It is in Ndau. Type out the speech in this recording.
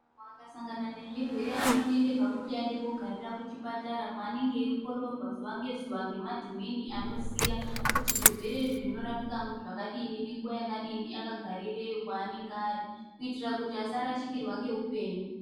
Vantu vakasangana nezvirwere vanoite kuti vaende kogararira kuzvipatara kwaanenge aindoongororwa zuva ngezuva ngemadhumini anenge aiziya kuti zvirwere Izvi zvinorapika zvakadini ngenguva yakadini akagarireyo kwanenge ari kuti asarasikirwa ngeupenyu